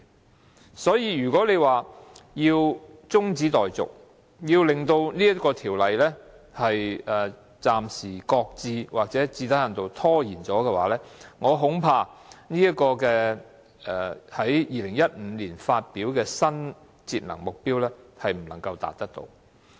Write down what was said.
如果要將這項辯論中止待續，令第三階段強制性標籤計劃暫時擱置，或最低限度受到拖延，我恐怕政府在2015年發表的新節能目標便不能達到。